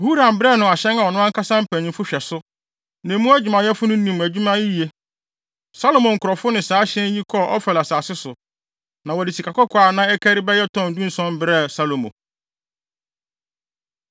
Huram brɛɛ no ahyɛn a ɔno ankasa mpanyimfo hwɛ so; na emu adwumayɛfo no nim adwuma yiye. Salomo nkurɔfo ne saa ahyɛn yi kɔɔ Ofir asase so, na wɔde sikakɔkɔɔ a na ɛkari bɛyɛ tɔn dunson brɛɛ Salomo.